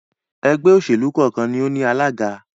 ẹgbẹ́-òsèlú kọ́ọ̀kan ni ó ní alága.